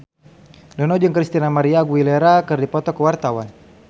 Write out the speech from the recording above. Dono jeung Christina María Aguilera keur dipoto ku wartawan